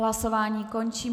Hlasování končím.